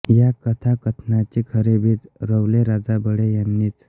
या कथाकथनाचे खरे बीज रोवले राजा बढे यांनीच